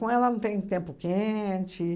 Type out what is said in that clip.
Com ela não tem tempo quente.